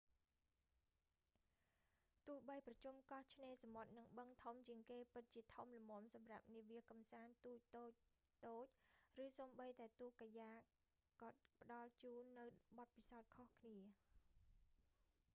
ទោះបីប្រជុំកោះឆ្នេរសមុទ្រ និងបឹងធំជាងគេពិតជាធំល្មមសម្រាប់នាវាកំសាន្ត ទូកតូចៗ ឬសូម្បីតែទូកកាយ៉ាកក៏ផ្តល់ជូននូវបទពិសោធន៍ខុសគ្នា